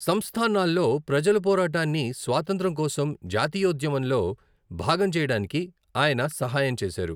సంస్థానాల్లో ప్రజల పోరాటాన్ని స్వాతంత్ర్యం కోసం జాతీయోద్యమంలో భాగం చేయడానికి ఆయన సహాయం చేసారు.